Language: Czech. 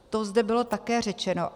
To zde bylo také řečeno.